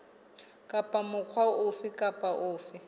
kapa mokga ofe kapa ofe